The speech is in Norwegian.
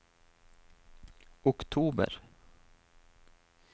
oktober